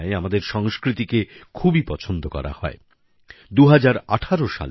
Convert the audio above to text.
আর্জেন্টিনায় আমাদের সংস্কৃতি খুবই জনপ্রিয়